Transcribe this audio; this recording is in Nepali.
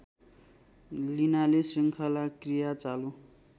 लिनाले शृङ्खलाक्रिया चालू